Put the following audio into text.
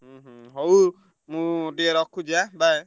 ହୁଁ ହୁଁ ହଉ ମୁଁ ଟିକେ ରଖୁଛି ଏଁ bye